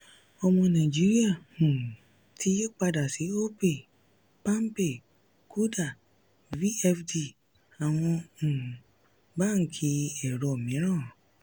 ọmọ nàìjíríà um ti yí padà sí opay palmpay kuda vfd àwọn um báńkì ẹ̀rọ mìíràn.